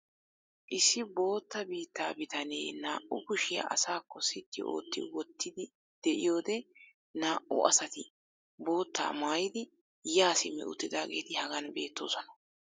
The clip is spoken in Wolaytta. issi bootta biitaa bitanee naa'u kushiya asaakko sitti ootti wottidi diyoode naau asati boottaa maayidi yaa simmi uttidaageeti hagan beettoosona.